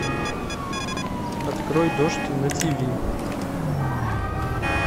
открой дождь на тв